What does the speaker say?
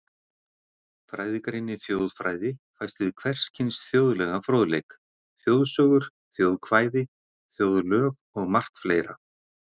Fræðigreinin þjóðfræði fæst við hvers kyns þjóðlegan fróðleik, þjóðsögur, þjóðkvæði, þjóðlög og margt fleira.